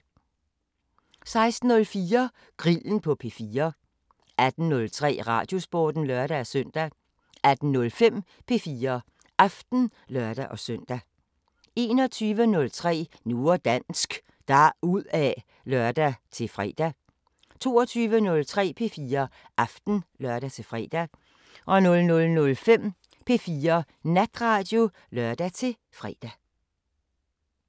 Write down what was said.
16:04: Grillen på P4 18:03: Radiosporten (lør-søn) 18:05: P4 Aften (lør-søn) 21:03: Nu og dansk – deruda' (lør-fre) 22:03: P4 Aften (lør-fre) 00:05: P4 Natradio (lør-fre)